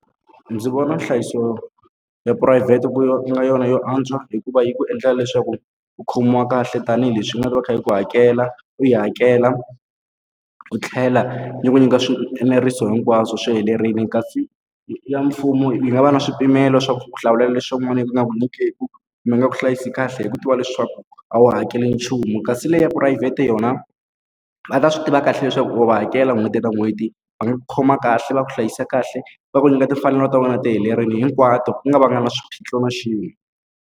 Ndzi vona nhlayiso ya phurayivhete ku nga yona yo antswa hikuva yi ku endlela leswaku u khomiwa kahle tanihileswi u nga ta va yi kha yi ku hakela, u yi hakela, yi tlhela yi ku nyika swieneriso hinkwaswo swi helerile. Kasi ya mfumo yi nga va na swipimelo swa ku ku hlawulela leswaku swin'wana a yi nge ku nyikeki, yi nga ku hlayisa kahle hi ku tiva leswaku a wu hakeli nchumu. Kasi leyi ya phurayivhete yona va ta swi tiva kahle leswaku u va hakela n'hweti na n'hweti, va nga ku khoma kahle, va ku hlayisa kahle, va ku nyika timfanelo ta wena ti helerile hinkwato ku nga va nga na swiphiqo na xin'we.